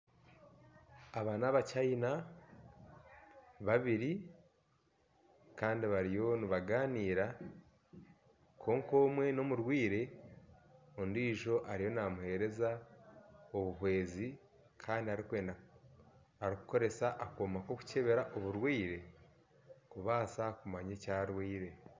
Aba ni abacayina babiri Kandi bariyo nibaganira kwonka omwe ni omurwaire ondijo ariyo namuhereza obuhwezi Kandi arikukoresa akoma kokucebera oburwaire kubasa kumanya eki arwaire.